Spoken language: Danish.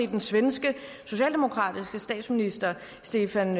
den svenske socialdemokratiske statsminister stefan